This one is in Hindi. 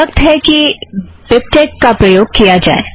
अब वक्त है कि बिबटेक का प्रयोग किया जाए